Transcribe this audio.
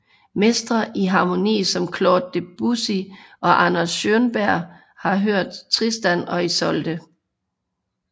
Mestre i harmoni som Claude Debussy og Arnold Schönberg har hørt Tristan og Isolde